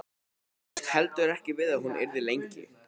Bjóst heldur ekki við að hún yrði lengi.